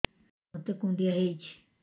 ମୋତେ କୁଣ୍ଡିଆ ହେଇଚି